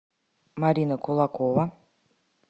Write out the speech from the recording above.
марина кулакова